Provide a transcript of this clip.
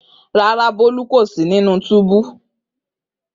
Rara, Bolu ko si ninu tubu.